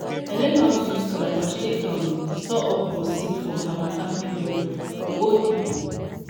i learn how to use calabash take um store okro seed for harmattan period from old pipo.